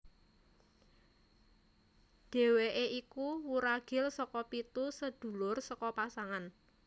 Deheweke iku wuragil saka pitu sadulur saka pasangan